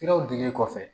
Siraw dilen kɔfɛ